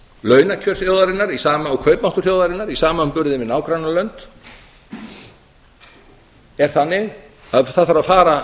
launakjör þjóðarinnar og kaupmáttur þjóðarinnar í samanburði við nágrannalönd er þannig að það þarf að fara